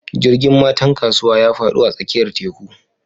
Jirgin matan kasuwa ya fado a tsakiyar teku